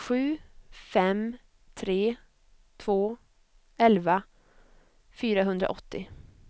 sju fem tre två elva fyrahundraåttio